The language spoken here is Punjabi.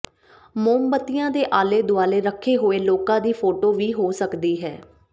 ਮੋਮਬੱਤੀਆਂ ਦੇ ਆਲੇ ਦੁਆਲੇ ਰੱਖੇ ਹੋਏ ਲੋਕਾਂ ਦੀ ਫੋਟੋ ਵੀ ਹੋ ਸਕਦੀ ਹੈ